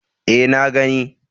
E, na gani.